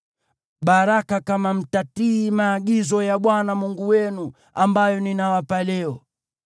baraka kama mtatii maagizo ya Bwana Mungu wenu, ambayo ninawapa leo;